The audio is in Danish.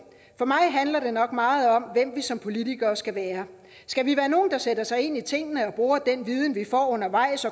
for mig handler det nok meget om hvem vi som politikere skal være skal vi være nogle der sætter sig ind i tingene og bruger den viden vi får undervejs